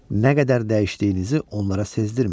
Nə qədər dəyişdiyinizi onlara sezdirməyin.